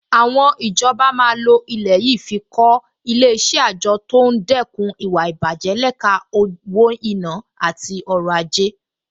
Àwọn ìjọba máa lo ilẹ̀ yìí fi kọ́ Ilé-iṣẹ́ àjọ tó ń dẹ́kun ìwà ìbàjẹ́ lẹ́ka owó-ìná àti ọrọ̀-ajé